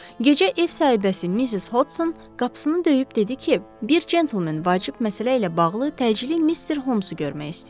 Gecə ev sahibəsi Mrs. Hodson qapısını döyüb dedi ki, bir cəntelmen vacib məsələ ilə bağlı təcili Mister Holmsu görmək istəyir.